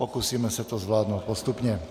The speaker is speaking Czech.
Pokusíme se to zvládnout postupně.